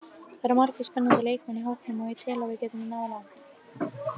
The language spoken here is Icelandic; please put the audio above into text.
Það eru margir spennandi leikmenn í hópnum og ég tel að við getum náð langt.